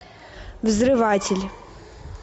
взрыватель